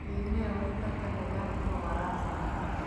Qiimee waxtarka nidaamka waraabka.